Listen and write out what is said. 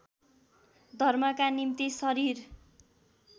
धर्मका निम्ति शरीर